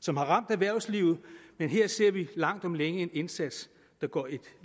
som har ramt erhvervslivet men her ser vi langt om længe en indsats der går et